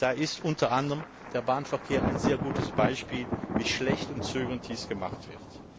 Da ist unter anderem der Bahnverkehr ein sehr gutes Beispiel, wie schlecht und zögernd dies gemacht wird.